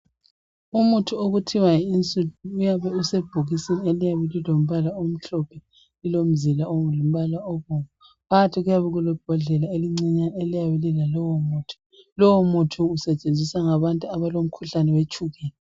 Umuthi othiwa yiInsulin uyabe usebhokisini eliyabe lilombala omhlophe lilomzila olombala obomvu phakathi kuyabe kulebhodlela elincinyane eliyabe lilalowo muthi, lowo muthi usetshenziswa ngabantu abalomkhuhlane wetshukela.